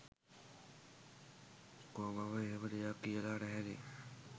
කෝ මම එහෙම දෙයක් කියල නැහැනෙ